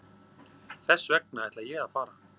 Þessvegna ætla ég að fara.